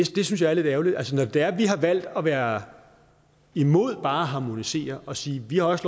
det synes jeg er lidt ærgerligt altså når det er at vi har valgt at være imod bare at harmonisere og siger at vi også